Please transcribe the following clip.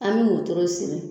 An mi motoro siri